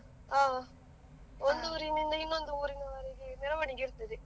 ಹಾ, ಒಂದು ಊರಿನಿಂದ ಇನ್ನೊಂದು ಊರಿನವರೆಗೆ ಮೆರವಣಿಗೆ ಇರ್ತದೆ.